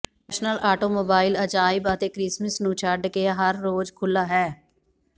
national automobile ਅਜਾਇਬ ਅਤੇ Christmas ਨੂੰ ਛੱਡ ਕੇ ਹਰ ਰੋਜ਼ ਖੁੱਲ੍ਹਾ ਹੈ